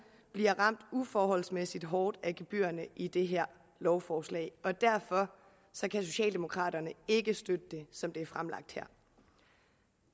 bliver ramt uforholdsmæssigt hårdt af gebyrerne i det her lovforslag og derfor kan socialdemokraterne ikke støtte det som det er fremlagt her